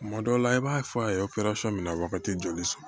Tuma dɔw la i b'a fɔ a ye min na wagati joli sɔrɔ